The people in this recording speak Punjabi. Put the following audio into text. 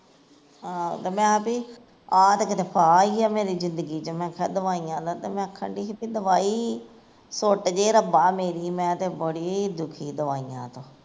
ਆਹੋ ਤੇ ਮੈ ਕਿਹਾ ਵੀ, ਆਹ ਤੇ ਬੜਾ ਫਾਹਾ ਈ ਐ ਮੇਰੀ ਜ਼ਿੰਦਗੀ ਚ ਤੇ ਮੈਂ ਆਖਣ ਡਈ ਸੀ ਵੀ ਦਵਾਈ ਛੁੱਟ ਜੇ ਰੱਬਾ ਮੇਰੀ, ਮੈਂ ਤੇ ਬੜੀ ਦੁਖੀ ਦਵਾਈਆਂ ਤੋਂ